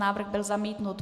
Návrh byl zamítnut.